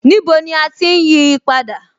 Níbo ni à ti ń yí á padà?